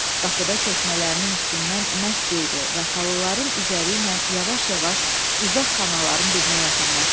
Qapıda çəkmələrinin üstündən məsk yeydi və xalıların üzəri ilə yavaş-yavaş uzaq xanaların birinə yaxınlaşdı.